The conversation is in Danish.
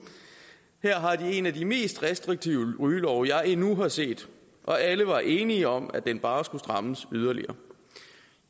her har de en af de mest restriktive rygelove jeg endnu har set og alle var enige om at den bare skulle strammes yderligere